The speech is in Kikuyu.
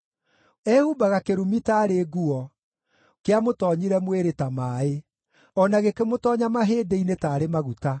Ehumbaga kĩrumi taarĩ nguo; kĩamũtoonyire mwĩrĩ ta maaĩ, o na gĩkĩmũtoonya mahĩndĩ-inĩ taarĩ maguta.